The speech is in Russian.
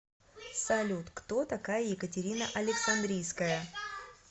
салют кто такая екатерина александрийская